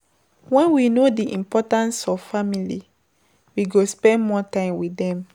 When we know di importance of family, we go spend more time with dem